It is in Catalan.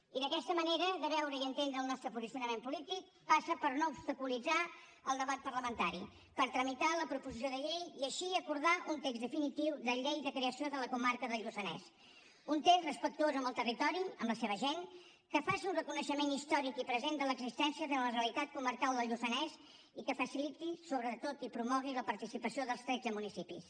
i aquesta manera de veure i entendre el nostre posicionament polític passa per no obstaculitzar el debat parlamentari per tramitar la proposició de llei i així acordar un text definitiu de llei de creació de la comarca del lluçanès un text respectuós amb el territori amb la seva gent que faci un reconeixement històric i present de l’existència de la realitat comarcal del lluçanès i que faciliti sobretot i promogui la participació dels tretze municipis